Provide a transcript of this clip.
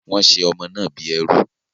Wọ́n ṣe ọmọ náà bí ẹrú